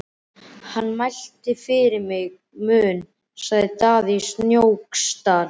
Hann mælti fyrir minn munn, sagði Daði í Snóksdal.